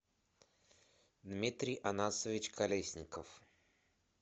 дмитрий анасович колесников